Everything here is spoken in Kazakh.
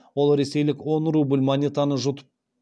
ол ресейлік он рубль монетаны жұтып